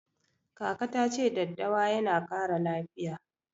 Kaka ta ce daddawa yana ƙara lafiya.